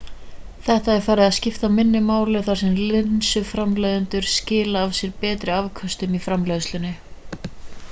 þetta er farið að skipta minna máli þar sem linsuframleiðendur skila af sér betri afköstum í framleiðslunni